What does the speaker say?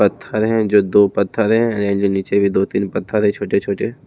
पत्थर है जो दो पत्थर है ये नीचे भी दो तीन पत्थर है छोटे छोटे--